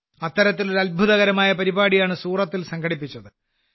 അത്തരത്തിലൊരു അത്ഭുതകരമായ പരിപാടിയാണ് സൂറത്തിൽ സംഘടിപ്പിച്ചത്